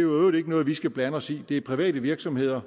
øvrigt ikke noget vi skal blande os i det er private virksomheder